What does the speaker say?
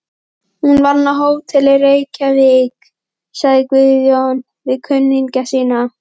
Hún vann á Hótel Reykjavík, sagði Guðjón við kunningja sína.